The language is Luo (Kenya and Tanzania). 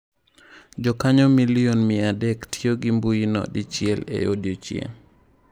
Jokanyo miliom mia adek tiyo gi mbuyino dichel e odiechieng'.